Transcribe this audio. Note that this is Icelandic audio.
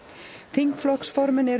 þingflokksformenn eru